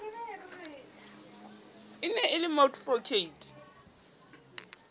e ne e le moadvokate